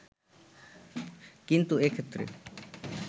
কিন্তু এক্ষেত্রে